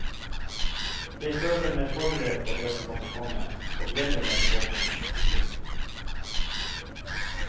Jeg føler meg forberedt på det som måtte komme, og gleder meg til åpningen, sier hun.